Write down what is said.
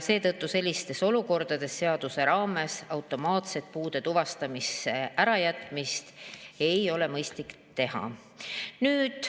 Seetõttu sellistes olukordades seaduse raames automaatselt puude tuvastamist ära jätta ei ole mõistlik.